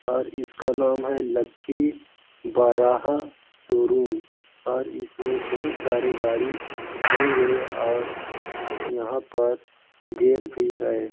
और इसका नाम है लकी बाराह शोरूम और इसमें बहुत सारे गाड़ी होंगे और यहां पर गेट भी है।